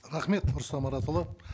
рахмет рұстам маратұлы